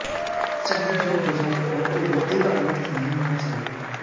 चाहे जो हो जाए परंतु बुद्धि का अनर्थ नहीं होना चाहिए